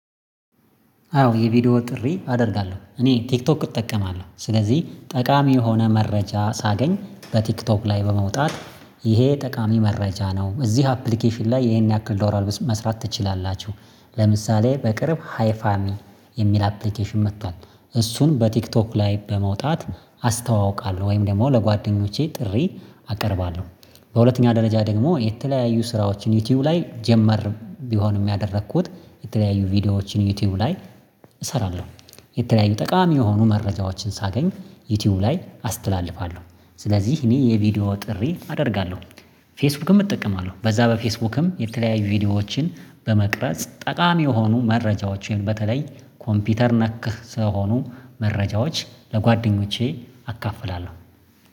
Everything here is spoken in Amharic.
አዎ የቪዲዮ ጥሪ አደርጋለሁ እኔ ቲክቶክ እጠቀማለሁ ስለዚህ ጠቃሚ የሆነ መረጃ ሳገኝ በቲክቶክ ላይ በመውጣት ይሄ ጠቃሚ መረጃ ነው። እዚህ አፕሊኬሽን ላይ ይሄን ያክል ዶላር መስራት ትችላላችሁ? ለምሳሌ በቅርብ ሃይ ፋሚ የሚል አፕሊኬሽን መጥቷል እሱን በቲክቶክ ላይ በመውጣት አስተዋውቃለሁ ወይም ደግሞ ለጓደኞቼ ጥሪ አቀርባለሁ። በሁለተኛ ደረጃ ደግሞ የተለያዩ ስራዎችን ዩቲዩብ ላይ ጀመር ቢሆን ያደረኩት የተለያዩ ቪዲዮዎችን ዩቲዩብ ላይ እሰራለሁ። የተለያዩ ጠቃሚ የሆኑ መረጃዎችን ሳገኝ ዩቲዩብ ላይ አስተላልፋለሁ። ስለዚህ እኔ የቪዲዮ ጥሪ አደርጋለሁ። ፌስቡክም እጠቀማለሁ በዛ በፌስቡክም የተለያዩ ቪዲዮዎችን በመቅረጽ ጠቃሚ የሆኑ መረጃዎችን በተለይ ኮምፒውተር ነክህ ስለሆኑ መረጃዎች ለጓደኞቼ አካፍላለሁ